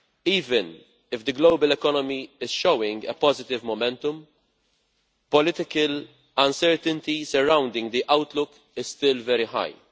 Even if the global economy is showing positive momentum, political uncertainty surrounding the outlook is still very high.